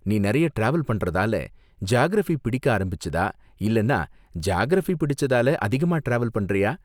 நீ நிறைய டிராவல் பண்றதால ஜியாகிரஃபி பிடிக்க ஆரம்பிச்சதா, இல்லைன்னா ஜியாகிரஃபி பிடிச்சதால அதிகமா டிராவல் பண்றியா?